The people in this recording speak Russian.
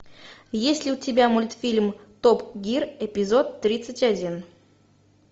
есть ли у тебя мультфильм топ гир эпизод тридцать один